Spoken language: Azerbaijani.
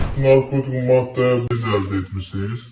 narkotik maddə əldə etmisiniz?